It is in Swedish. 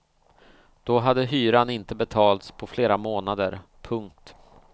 Då hade inte hyran betalts på flera månader. punkt